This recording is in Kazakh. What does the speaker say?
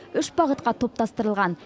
үш бағытқа топтастырылған